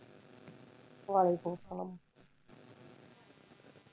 ওয়ালাইকুম আসসালাম।